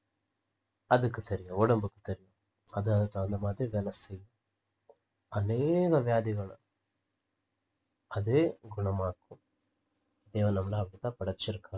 அதுக்கு தெரியும் உடம்புக்கு தெரியும் அது அந்த மாதிரி வேலை செய்யும் அனேக வியாதிகளை அதே குணமாக்கும் அப்படி தான் படைச்சிருக்கான்